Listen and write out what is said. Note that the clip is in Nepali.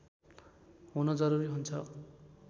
हुन जरुरी हुन्छ